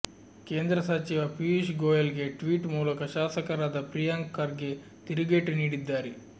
ಕೇಂದ್ರ ಸಚಿವ ಪಿಯೂಷ್ ಗೋಯಲ್ಗೆ ಟ್ವೀಟ್ ಮೂಲಕ ಶಾಸಕರಾದ ಪ್ರಿಯಾಂಕ್ ಖರ್ಗೆ ತಿರುಗೇಟು ನೀಡಿದ್ದಾರೆ